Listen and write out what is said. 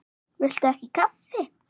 Viltu ekki kaffi?